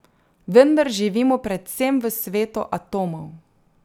Vendar živimo predvsem v svetu atomov.